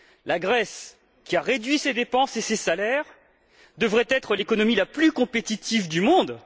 La Grèce, qui a réduit ses dépenses et ses salaires, devrait être l'économie la plus compétitive du monde.